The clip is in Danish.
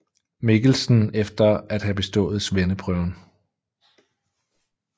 Mikkelsen efter at have bestået svendeprøven